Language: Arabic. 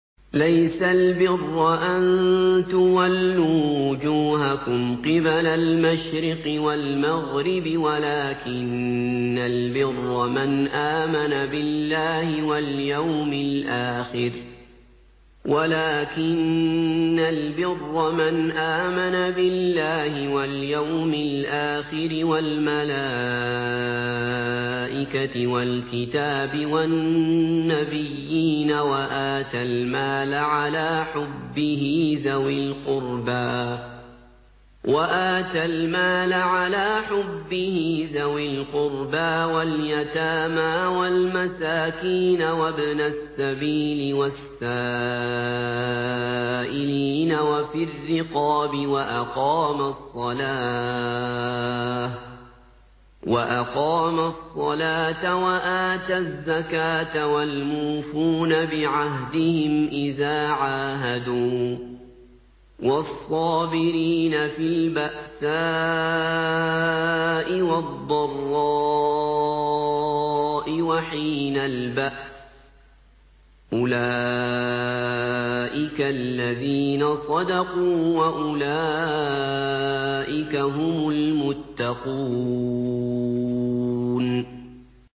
۞ لَّيْسَ الْبِرَّ أَن تُوَلُّوا وُجُوهَكُمْ قِبَلَ الْمَشْرِقِ وَالْمَغْرِبِ وَلَٰكِنَّ الْبِرَّ مَنْ آمَنَ بِاللَّهِ وَالْيَوْمِ الْآخِرِ وَالْمَلَائِكَةِ وَالْكِتَابِ وَالنَّبِيِّينَ وَآتَى الْمَالَ عَلَىٰ حُبِّهِ ذَوِي الْقُرْبَىٰ وَالْيَتَامَىٰ وَالْمَسَاكِينَ وَابْنَ السَّبِيلِ وَالسَّائِلِينَ وَفِي الرِّقَابِ وَأَقَامَ الصَّلَاةَ وَآتَى الزَّكَاةَ وَالْمُوفُونَ بِعَهْدِهِمْ إِذَا عَاهَدُوا ۖ وَالصَّابِرِينَ فِي الْبَأْسَاءِ وَالضَّرَّاءِ وَحِينَ الْبَأْسِ ۗ أُولَٰئِكَ الَّذِينَ صَدَقُوا ۖ وَأُولَٰئِكَ هُمُ الْمُتَّقُونَ